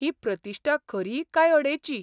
ही प्रतिश्ठा खरी काय अडेची?